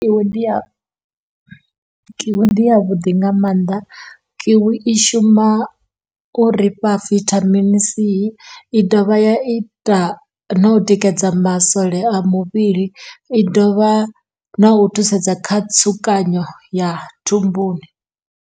Kiwi ndi ya kiwi ndi ya vhuḓi nga mannḓa, kiwi i shuma uri fha vithamini C i dovha ya ita no u tikedza masole a muvhili i dovha na u thusedza kha tsukanyo ya thumbuni.